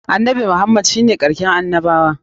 Annabi Muhammad shi ne karshen annabawa.